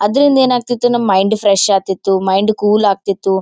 ಅದ್ರಿಂದ್ರ ಏನಾಗುತ್ತಿತ್ತು ಆಗತ್ತಂತ ಅಂದ್ರೆ ಮೈಂಡ್ ಫ್ರೆಶ್ ಆತ್ತಿತು ಮೈಂಡ್ ಕೂಲ್ ಆಗತ್ತಿತು.